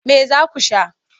Me za ku sha?